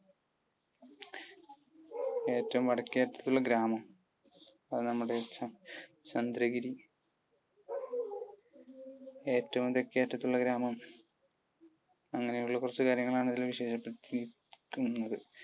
ഏറ്റവും വടക്കേ അറ്റത്തുള്ള ഗ്രാമം? അത് നമ്മുടെ ചന്ദ്രഗിരി. ഏറ്റവും തെക്കേ അറ്റത്തുള്ള ഗ്രാമം. അങ്ങനുള്ള കുറച്ചു കാര്യങ്ങൾ ആണ് ഇതിൽ ചർച്ച ചെയ്യപ്പെട്ടിരിക്കുന്നത്.